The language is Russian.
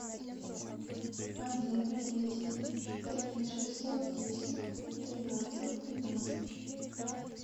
один двести три шестьсот десять тринадцать тринадцать